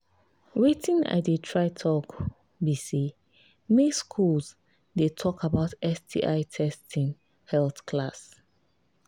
watin i they try talk be say make school they talk about sti testing health class